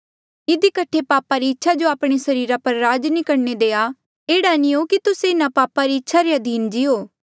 इधी कठे पापा री इच्छा जो आपणे सरीरा पर राज नी करणे देआ एह्ड़ा नी हो कि तुस्से इन्हा पापा री इच्छा रे अधीन जीओ